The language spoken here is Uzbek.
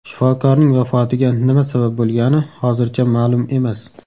Shifokorning vafotiga nima sabab bo‘lgani hozircha ma’lum emas.